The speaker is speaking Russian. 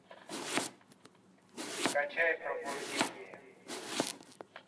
скачай пробуждение